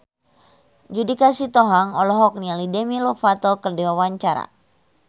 Judika Sitohang olohok ningali Demi Lovato keur diwawancara